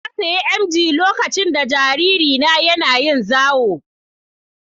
Na sayi emgyi lokacin da jaririna ya na yin zawo